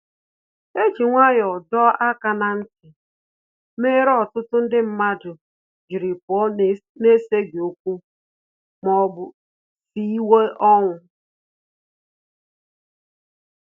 E ji nwayọ dọọ aka na nti, mere ọtụtụ ndị mmadụ jiri pụọ na eseghi okwu ma ọ bụ siwe ọnwụ